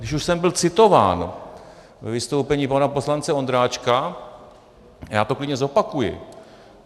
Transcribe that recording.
Když už jsem byl citován ve vystoupení pana poslance Ondráčka, já to klidně zopakuji.